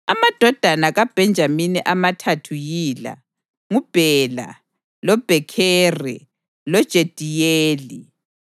Amadodana kaBhenjamini amathathu yila: nguBhela, loBhekheri loJediyeli.